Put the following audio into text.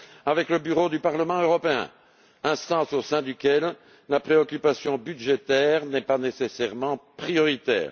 avec le Bureau du Parlement européen, instance au sein de laquelle la préoccupation budgétaire n'est pas nécessairement prioritaire.